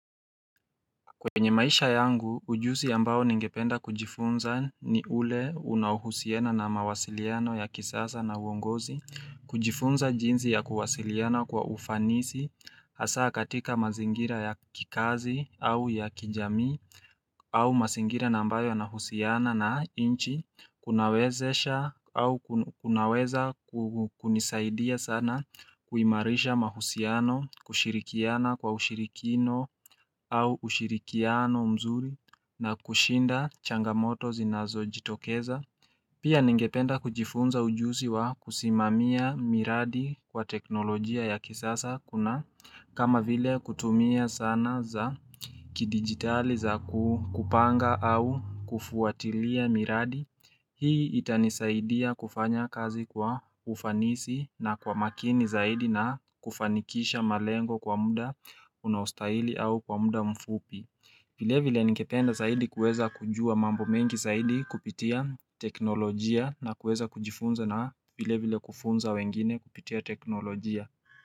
Kwenye maisha yangu, ujuzi ambao ningependa kujifunza ni ule unaohusiana na mawasiliano ya kisasa na uongozi. Kujifunza jinzi ya kuwasiliana kwa ufanisi, hasa katika mazingira ya kikazi au ya kijamii au mazingira ambayo yanahusiana na nchi kunawezesha au kunaweza kunisaidia sana kuimarisha mahusiano, kushirikiana kwa ushirikino au ushirikiano mzuri na kushinda changamoto zinazojitokeza. Pia ningependa kujifunza ujuzi wa kusimamia miradi kwa teknolojia ya kisasa kuna kama vile kutumia zana za kidigitali za kupanga au kufuatilia miradi Hii itanisaidia kufanya kazi kwa ufanisi na kwa makini zaidi na kufanikisha malengo kwa muda unaostahili au kwa muda mfupi vile vile ningependa zaidi kuweza kujua mambo mengi zaidi kupitia teknolojia na kuweza kujifunza na vilevile kufunza wengine kupitia teknolojia.